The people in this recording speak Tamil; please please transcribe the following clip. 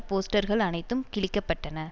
போஸ்டர்கள் அனைத்தும் கிழிக்கப்பட்டன